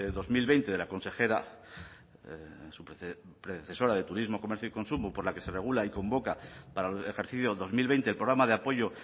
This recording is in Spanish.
dos mil veinte de la consejera su predecesora de turismo comercio y consumo por la que se regula y convoca para el ejercicio dos mil veinte el programa de apoyo